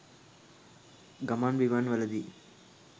ගමන් බිමන්වලදී